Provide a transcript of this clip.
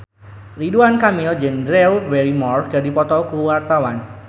Ridwan Kamil jeung Drew Barrymore keur dipoto ku wartawan